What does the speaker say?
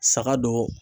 Saga don